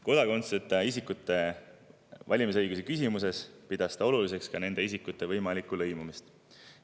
Kodakondsuseta isikute valimisõiguse küsimuses pidas ta oluliseks ka nende isikute võimalikku lõimumist.